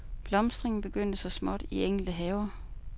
Blomstringen begyndte så småt i enkelte haver.